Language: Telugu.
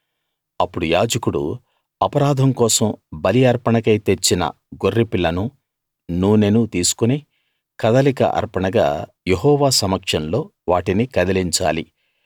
అప్పుడు యాజకుడు అపరాధం కోసం బలి అర్పణకై తెచ్చిన గొర్రెపిల్లనూ నూనెనూ తీసుకుని కదలిక అర్పణగా యెహోవా సమక్షంలో వాటిని కదిలించాలి